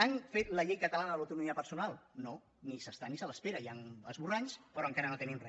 han fet la llei catalana de l’autonomia personal no ni hi és ni se l’espera hi han esborranys però encara no tenim re